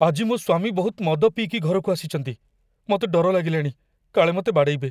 ଆଜି ମୋ ସ୍ୱାମୀ ବହୁତ ମଦ ପିଇକି ଘରକୁ ଆସିଚନ୍ତି । ମତେ ଡର ଲାଗିଲାଣି, କାଳେ ମତେ ବାଡ଼େଇବେ ।